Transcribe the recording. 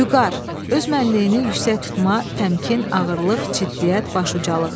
Vüqar, öz mənliyini yüksək tutma, təmkin, ağırlıq, ciddiyyət, baş ucalıq.